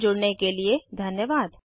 हमसे जुड़ने के लिए धन्यवाद